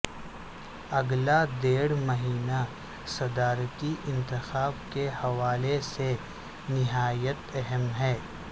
اگلا ڈیڑھ مہینہ صدارتی انتخاب کے حوالے سے نہایت اہم ہے